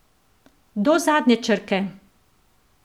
Do zadnje črke!